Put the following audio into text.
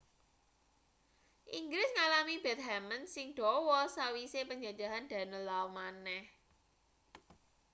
inggris ngalami bedhamen sing dawa sawise panjajahan danelaw maneh